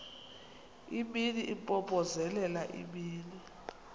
imini impompozelela imini